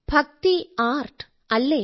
ഭക്തി ആർട്ട് അല്ലേ